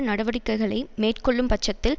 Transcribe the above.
நடவடிக்கைகளை மேற்கொள்ளும் பட்சத்தில்